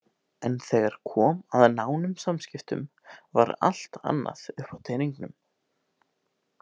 En þegar kom að nánum samskiptum var allt annað uppi á teningnum.